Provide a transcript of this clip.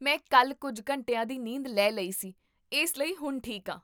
ਮੈਂ ਕੱਲ ਕੁੱਝ ਘੰਟਿਆਂ ਦੀ ਨੀਂਦ ਲੈ ਲਈ ਸੀ ਇਸ ਲਈ ਹੁਣ ਠੀਕ ਹਾਂ